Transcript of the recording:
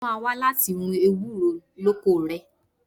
Mo máa wá láti run ewúro lóko rẹ.